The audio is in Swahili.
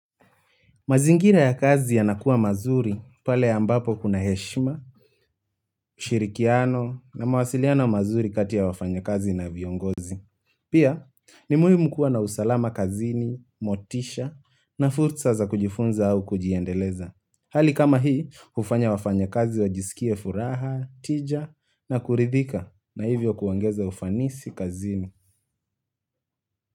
Mazingira ya kazi yanakuwa mazuri pale ambapo kuna heshima, ushirikiano na mawasiliano mazuri kati ya wafanyikazi na viongozi. Pia ni muhimu kuwa na usalama kazini, motisha na fursa za kujifunza au kujiendeleza. Hali kama hii hufanya wafanya kazi wajisikie furaha, tija na kuridhika na hivyo kuongeza ufanisi kazini.